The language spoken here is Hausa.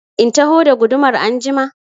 In taho da gudumar anjima?